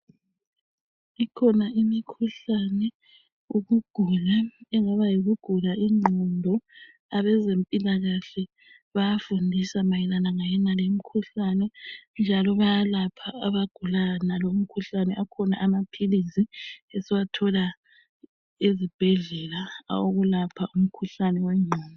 Ikhona imikhuhlane, ukugula, engaba yikugula ingqondo, abazempilakahle bayafundisa mayelana ngayenaleyimkhuhlane njalo bayalapha abagula yonaleyi mkhuhlane. Akhona amaphilisi esiwathola ezibhedlela awokulapha umkhuhlane wengqondo.